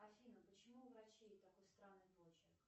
афина почему у врачей такой странный почерк